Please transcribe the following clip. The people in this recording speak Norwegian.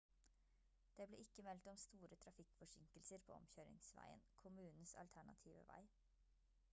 det ble ikke meldt om store trafikkforsinkelser på omkjøringsveien kommunens alternative vei